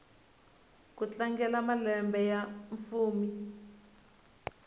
ku tlangela malembe ya fumi